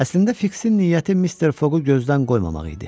Əslində Fiksin niyyəti Mister Foqu gözdən qoymamaq idi.